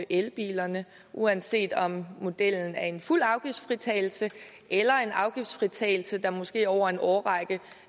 elbilerne uanset om modellen er en fuld afgiftsfritagelse eller en afgiftsfritagelse der måske over en årrække